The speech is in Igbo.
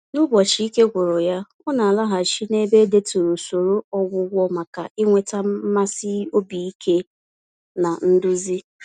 N'ụbọchị ike gwụrụ ya, ọ na-alaghachi n'ebe edeturu usoro ọgwụgwọ maka ịnweta mmasị obi ike na nduzi.